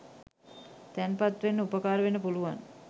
තැන්පත් වෙන්න උපකාර වෙන්න පුළුවන්.